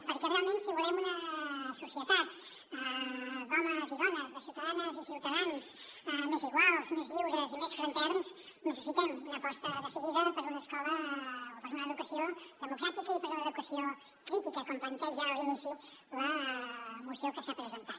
perquè realment si volem una societat d’homes i dones de ciutadanes i ciutadans més iguals més lliures i més fraterns necessitem una aposta decidida per una escola o per una educació democràtica i per una educació crítica com planteja a l’inici la moció que s’ha presentat